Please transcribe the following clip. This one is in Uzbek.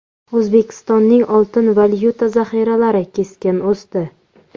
O‘zbekistonning oltin valyuta zaxiralari keskin o‘sdi.